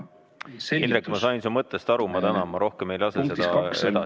Indrek, ma sain su mõttest aru, ma tänan, ma rohkem ei lase seda edasi.